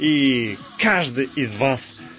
и каждый из вас